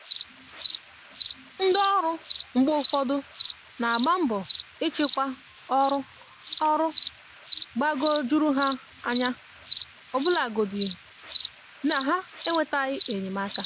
ndị ọrụ mgbe ụfọdụ n'agba mbọ ịchịkwa ọrụ ọrụ gbagoo jụrụ ha anya ọbụlagodi na ha enwetaghị enyemaka